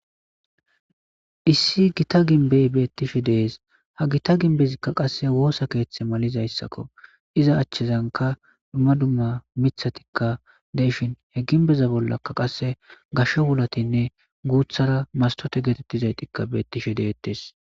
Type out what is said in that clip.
issi gita ginbey beettishe dees ha gita ginbezikka qasse woosa keeththe malizayssakko iza achchezanka dumma dumma mithatikka deishin he ginbeza bollakka qasse gasho wulatinne guuthara mastote geetettizaytikka beettishe de'eettes